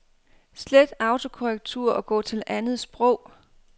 Slet autokorrektur og gå til andet sprog.